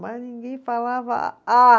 Mas ninguém falava ah.